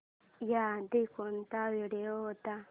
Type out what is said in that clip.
याआधी कोणता व्हिडिओ होता